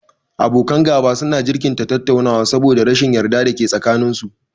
Abokan gaba su na jinkirta tattaunawa saboda rashin yarda da ke tsakanin su